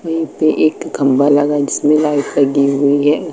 वहीं पे एक खंभा लगा है जिसमें लाइट लगा हुई है।